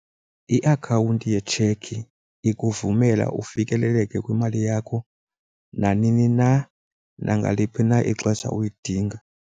Iakhawunti yetshekhi ikuvumela ufikeleleke kwimali yakho nanini na, nangaliphi na ixesha uyidinga.